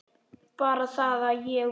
Bara það að ég. við.